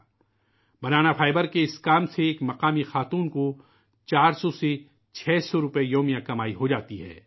' banana fibre ' کے اِس کام سے ایک مقامی خاتون کو 400 سے 600 روپئے یومیہ کی کمائی ہوجاتی ہے